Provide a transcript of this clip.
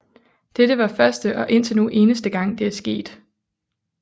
Dette var første og indtil nu eneste gang det er sket